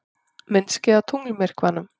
Myndskeið af tunglmyrkvanum